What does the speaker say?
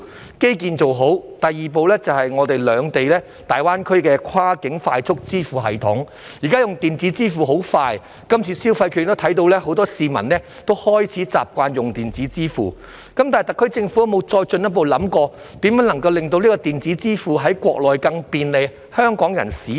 當基建做好，第二步便是融合兩地在大灣區的跨境快速支付系統，現在用電子支付很快，從這次消費券計劃亦可看到很多市民開始習慣使用電子支付，但特區政府有否進一步想過如何可讓香港人在國內更便利使用電子支付？